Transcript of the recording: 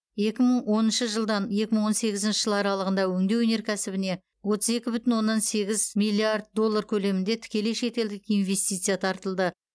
екі мың оныншы жылдан екі мың он сегізінші жыл аралығында өңдеу өнеркәсібіне отыз екі бүтін оннан сегіз миллиард доллар көлемінде тікелей шетелдік инвестиция тартылды